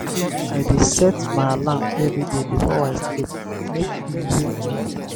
i dey set my alarm everyday before i sleep make e wake me.